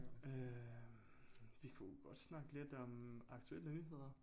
Øh vi kunne jo godt snakke lidt om aktuelle nyheder